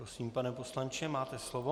Prosím, pane poslanče, máte slovo.